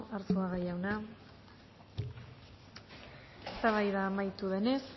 arzuaga jauna eztabaida amaitu denez